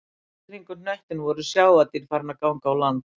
Allt í kringum hnöttinn voru sjávardýr farin að ganga á land